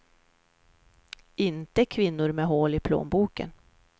Inte kvinnor med hål i plånboken.